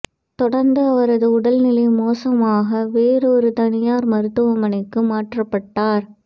தொடர்ந்து அவரது உடல்நிலை மோசமாக வேறொரு தனியார் மருத்துவமனைக்கு மாற்றப்பட்டார்